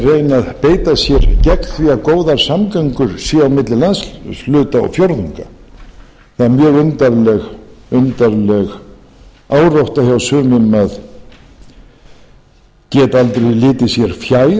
að beita sér gegn því að góðar samgöngur séu á milli landshluta og fjórðunga það er mjög undarleg árátta hjá sumum að geta aldrei litið sé fjær